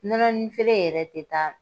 Nɔnɔnin feere yɛrɛ tɛ taa